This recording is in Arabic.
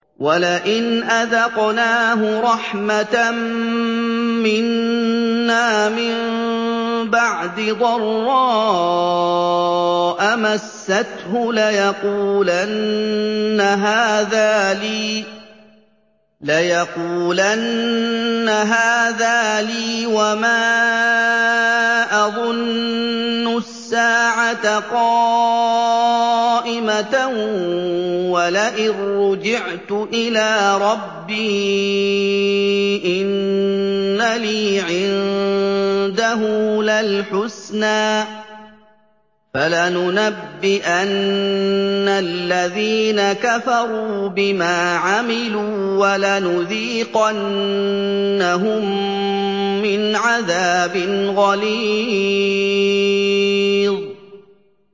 وَلَئِنْ أَذَقْنَاهُ رَحْمَةً مِّنَّا مِن بَعْدِ ضَرَّاءَ مَسَّتْهُ لَيَقُولَنَّ هَٰذَا لِي وَمَا أَظُنُّ السَّاعَةَ قَائِمَةً وَلَئِن رُّجِعْتُ إِلَىٰ رَبِّي إِنَّ لِي عِندَهُ لَلْحُسْنَىٰ ۚ فَلَنُنَبِّئَنَّ الَّذِينَ كَفَرُوا بِمَا عَمِلُوا وَلَنُذِيقَنَّهُم مِّنْ عَذَابٍ غَلِيظٍ